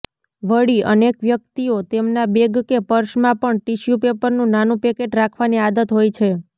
વળી અનેક વ્યક્તિઓ તેમના બેગ કે પર્સમાં પણ ટિસ્યૂપેપરનું નાનું પેકેટ રાખવાની આદત હોય છે